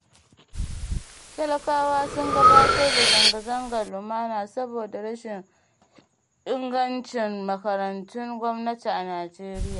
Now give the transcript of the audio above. Talakawa sun gabatar da zanga-zangar lumana saboda rashin ingancin makarantun gwamnati a Najeriya